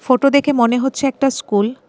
Photo দেখে মনে হচ্ছে একটা স্কুল .